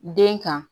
Den kan